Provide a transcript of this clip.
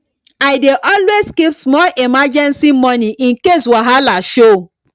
i dey always keep small emergency money in case wahala show